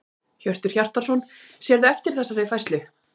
Hjörtur Hjartarson: Sérðu eftir þessari færslu?